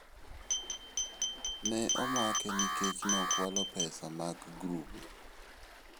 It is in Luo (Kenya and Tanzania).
Ne omake nikech nokwalo pesa mag grube.